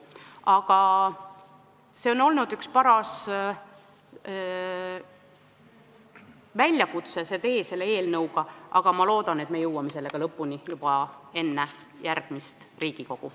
Selle eelnõu menetlemise tee on olnud üks paras väljakutse, aga ma loodan, et me jõuame sellega lõpule juba enne järgmist Riigikogu.